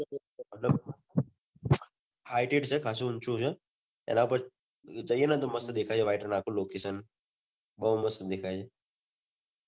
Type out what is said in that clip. highted છે ખાસું ઊંચું છે એના પર જઈને મસ્ત દેખાય છે white color નું આખુ location બહુ મસ્ત દેખાય છે